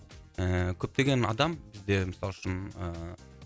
ыыы көптеген адам бізде мысалы үшін ыыы